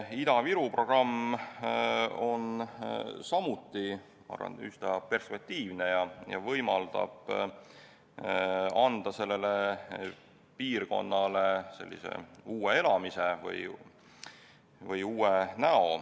Ida-Viru programm on samuti, ma arvan, üsna perspektiivne ja võimaldab anda sellele piirkonnale uue näo.